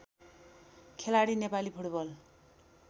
खेलाडी नेपाली फुटबल